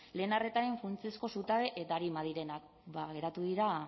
lehen arretaren funtsezko zutabe eta arima direnak ba geratu dira